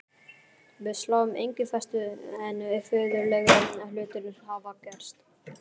Við sláum engu föstu en furðulegri hlutir hafa gerst.